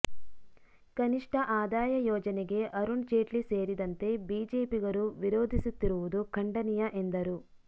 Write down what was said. ಕನಿಷ್ಟ ಆದಾಯ ಯೋಜನೆಗೆ ಅರುಣ್ ಜೇಟ್ಲಿ ಸೇರಿದಂತೆ ಬಿಜೆಪಿಗರು ವಿರೋಧಿಸುತ್ತಿರುವುದು ಖಂಡನೀಯ ಎಂದರು